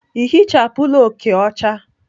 Ị ehichapụla oke ọcha?